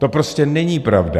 To prostě není pravda.